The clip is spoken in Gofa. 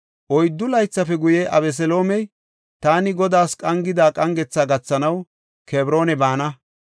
Oyddu laythafe guye, Abeseloomey, “Taani Godaas qangida qangetha gathanaw Kebroona baana.